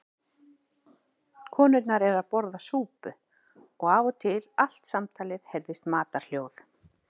Konurnar eru að borða súpu og af og til allt samtalið heyrast matarhljóð.